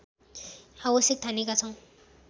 आवश्यक ठानेका छौँ